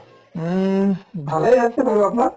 উম, ভালে আছে বাৰু আপোনাৰ